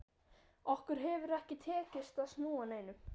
Okkur hefur ekki tekist að snúa neinum.